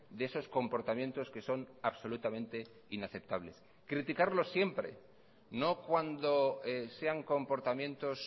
de esos comportamientos que son absolutamente inaceptables criticarlos siempre no cuando sean comportamientos